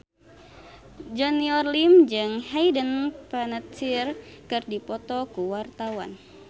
Junior Liem jeung Hayden Panettiere keur dipoto ku wartawan